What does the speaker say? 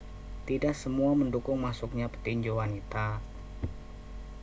tidak semuanya mendukung masuknya petinju wanita